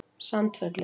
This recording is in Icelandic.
Sandfelli